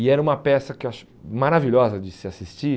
E era uma peça que eu acho maravilhosa de se assistir,